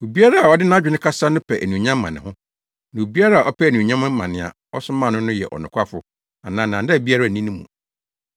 Obiara a ɔde nʼadwene kasa no pɛ anuonyam ma ne ho, na obiara a ɔpɛ anuonyam ma nea ɔsomaa no no yɛ ɔnokwafo a nnaadaa biara nni ne mu.